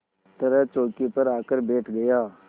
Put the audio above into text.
तरह चौकी पर आकर बैठ गया